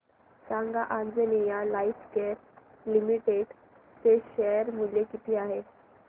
सांगा Anjaneya Lifecare Limited चे share मूल्य किती आहे